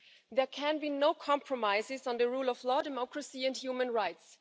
There can be no compromises on the rule of law, democracy and human rights.